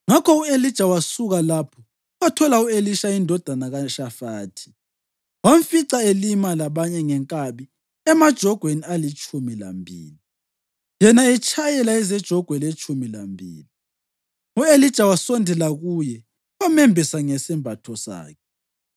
Ngakho u-Elija wasuka lapho wathola u-Elisha indodana kaShafathi. Wamfica elima labanye ngenkabi emajogweni alitshumi lambili, yena etshayela ezejogwe letshumi lambili. U-Elija wasondela kuye wamembesa ngesembatho sakhe.